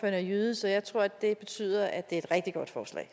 er jyde så jeg tror at det betyder at det er et rigtig godt forslag